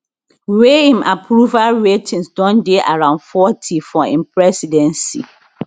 wey im approval ratings don dey around forty for im presidency